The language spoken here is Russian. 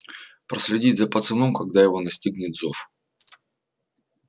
проследить за пацаном когда его настигнет зов